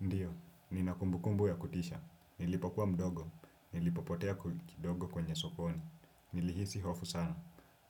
Ndiyo, nina kumbukumbu ya kutisha, nilipokuwa mdogo, nilipopotea kidogo kwenye sokoni, nilihisi hofu sana,